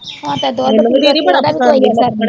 ਹੁਣ ਤੇ ਦੁੱਧ ਪੀਲਾ ਉਹਦਾ ਵੀ ਕੋਈ ਅਸਰ ਨਹੀਂ